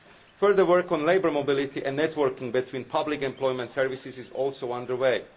Further work on labour mobility and networking between public employment services is also underway.